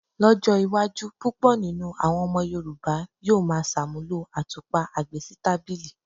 Ló̩jó̩ iwájú púpò̩ nínú àwo̩n o̩mo̩ Yorùbá yóò máa s̩àmúlò àtúpà agbésítàbìlì.